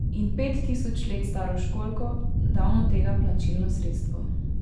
In pet tisoč let staro školjko, davno tega plačilno sredstvo.